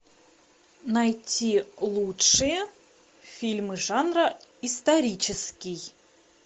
найти лучшие фильмы жанра исторический